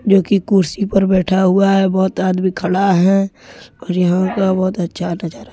जो की कुर्सी पर बैठा हुआ है। बहुत आदमी खड़ा है। और यहां का बहुत अच्छा नजारा--